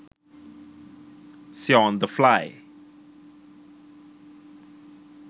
seo on the fly